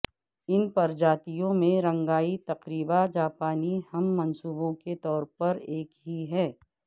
اس پرجاتیوں میں رنگائ تقریبا جاپانی ہم منصبوں کے طور پر ایک ہی ہے